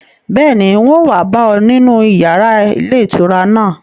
Bẹ́ẹ̀ni, un ó wa bá ọ nínú yàrá ilé ìtura náà